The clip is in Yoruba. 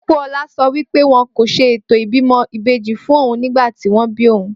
Pópóọlá sọ wípé wọn kò ṣe ètò ìbímọ ìbejí fún ohun nígbàtí wón bíí ohun